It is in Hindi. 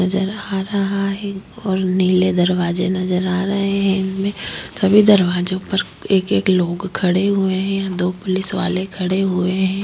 नजर आ रहा है और नीले दरवाजे नजर आ रहे है इनमे सभी दरवाजो पर एक एक लोग खड़े हुए है दो पुलिस वाले खड़े हुए है।